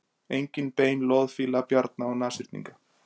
Einnig bein loðfíla, bjarna og nashyrninga.